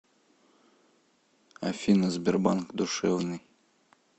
афина сбербанк душевный